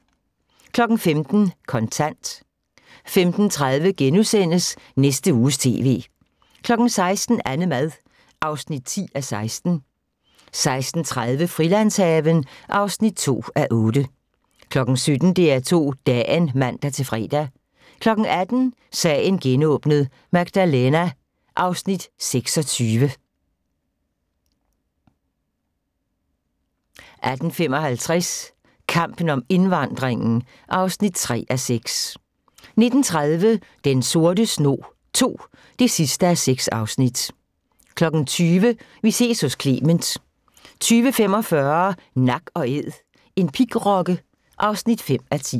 15:00: Kontant 15:30: Næste Uges TV * 16:00: AnneMad (10:16) 16:30: Frilandshaven (2:8) 17:00: DR2 Dagen (man-fre) 18:00: Sagen genåbnet: Magdalena 26 18:55: Kampen om indvandringen (3:6) 19:30: Den Sorte Snog II (6:6) 20:00: Vi ses hos Clement 20:45: Nak & Æd – en pigrokke (5:10)